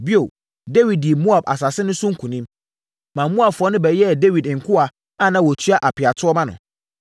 Bio, Dawid dii Moab asase no so nkonim, ma Moabfoɔ no bɛyɛɛ Dawid nkoa a na wɔtua apeatoɔ ma no.